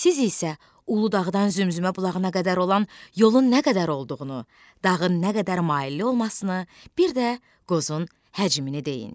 Siz isə Uludağdan Zümzümə bulağına qədər olan yolun nə qədər olduğunu, dağın nə qədər mailli olmasını, bir də qozun həcmini deyin.